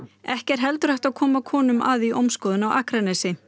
ekki er heldur hægt að koma konum að í ómskoðun á Akranesi